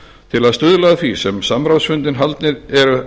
til að stuðla að því eru